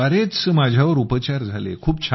card द्वारेच माझ्यावर उपचार झाले